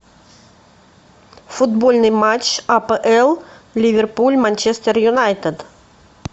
футбольный матч апл ливерпуль манчестер юнайтед